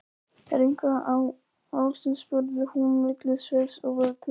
Er eitthvað að, ástin? spurði hún milli svefns og vöku.